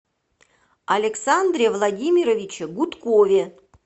александре владимировиче гудкове